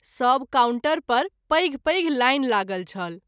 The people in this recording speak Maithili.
सभ काउन्टर पर पैघ पैघ लाइन लागल छल।